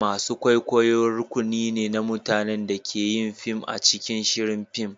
masu kwaikwayo rukuni ne na mutanen da ke yin fim a cikin shirin fim.